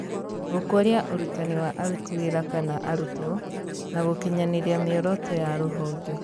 Gũkũria ũrutani wa aruti wĩra kana arutwo, na gũkinyanĩria mĩoroto ya rũhonge .